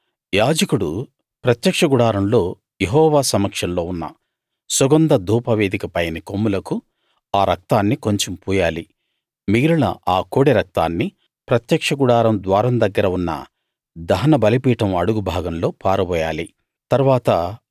తరువాత యాజకుడు ప్రత్యక్ష గుడారంలో యెహోవా సమక్షంలో ఉన్న సుగంధ ధూపవేదిక పైని కొమ్ములకు ఆ రక్తాన్ని కొంచెం పూయాలి మిగిలిన ఆ కోడె రక్తాన్ని ప్రత్యక్ష గుడారం ద్వారం దగ్గర ఉన్న దహన బలిపీఠం అడుగు భాగంలో పారబోయాలి